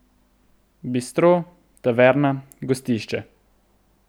Bistro, taverna, gostišče ...